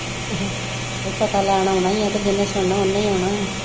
ਫੇਰ ਪਤਾ ਲੈਣ ਆਉਣਾ ਈ ਆ, ਕ ਜਿਨੇ ਸੁਣਨਾ ਓਨੇ ਈ ਆਉਣਾ ਆ